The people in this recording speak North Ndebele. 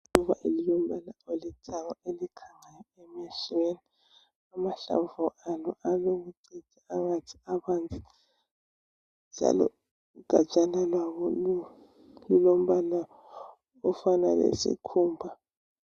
Iluba elilombala olithanga elikhangayo emehlweni, amahlamvu alobucici angathi abanzi njalo ugatshana lwalo lulombala ofana lesikhumba.